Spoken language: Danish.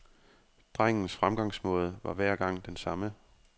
Drengens fremgangsmåde var hver gang den samme.